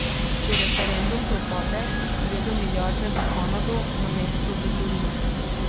Če referendum propade, gredo milijarde v Kanado namesto v Torino.